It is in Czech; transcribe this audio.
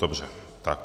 Dobře, tak.